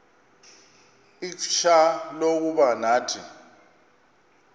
ixfsha lokuba nathi